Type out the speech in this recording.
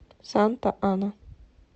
санта ана